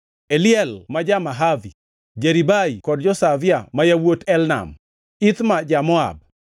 Eliel ja-Mahavi, Jeribai kod Joshavia ma yawuot Elnam, Ithma ja-Moab,